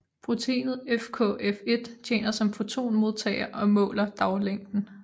Proteinet FKF1 tjener som fotonmodtager og måler daglængden